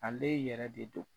Ale yɛrɛ de don